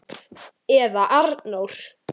Eða Arnór!